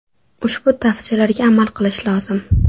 Ushbu tavsiyalarga amal qilish lozim.